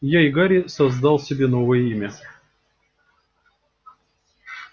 я и гарри создал себе новое имя